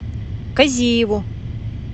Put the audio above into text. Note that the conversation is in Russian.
казиеву